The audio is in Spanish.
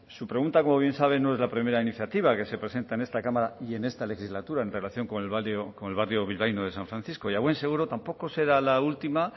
su pregunta como bien sabe no es la primera iniciativa que se presenta en esta cámara y en esta legislatura en relación con el barrio bilbaíno de san francisco y a buen seguro tampoco será la última